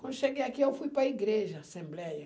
Quando cheguei aqui, eu fui para a igreja, assembleia.